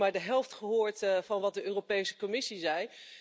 Ik heb dus ook maar de helft gehoord van wat de Europese Commissie zei.